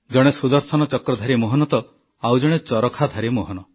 ଜଣେ ସୁଦର୍ଶନ ଚକ୍ରଧାରୀ ମୋହନ ତ ଆଉ ଜଣେ ଚରଖାଧାରୀ ମୋହନ